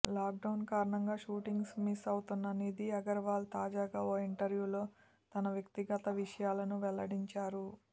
lockdown కారణంగా shootings miss అవుతున్న నిధి అగర్వాల్ తాజాగా ఓ ఇంటర్వ్యూలో తన వ్యక్తిగత విషయాలను వెల్లడించారు